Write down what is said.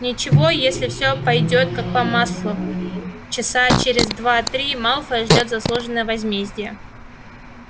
ничего если все пойдёт как по маслу часа через два-три малфоя ждёт заслуженное возмездие